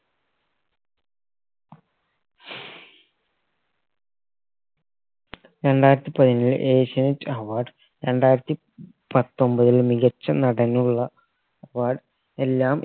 രണ്ടായിരത്തി പതിനേഴിൽ ഏഷ്യാനെറ്റ് award രണ്ടായിരത്തി പത്തൊമ്പതിൽ മികച്ച നടനുള്ള award എല്ലാം